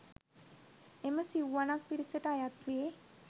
එම සිව්වනක් පිරිසට අයත් වේ.